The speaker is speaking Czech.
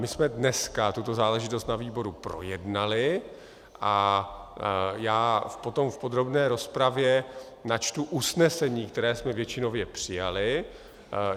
My jsme dneska tuto záležitost na výboru projednali a já potom v podrobné rozpravě načtu usnesení, které jsme většinově přijali.